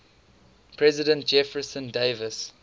president jefferson davis